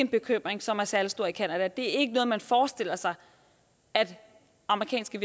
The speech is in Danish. bekymring som er særlig stor i canada det er ikke noget man forestiller sig at amerikanske